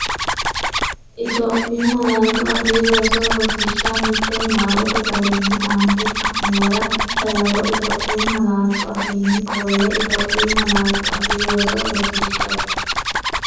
Itophiyu Malaatu Afii Roso Rosiishsha Mite Niwaawete garinni aante xa’muwara dawaro Itophiyu malaatu afiinni qolle Itophiyu Malaatu Afii Roso Rosiishsha.